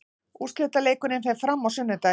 Úrslitaleikurinn fer fram á sunnudaginn.